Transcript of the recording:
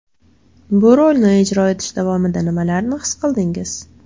Bu rolni ijro etish davomida nimalarni his qildingiz?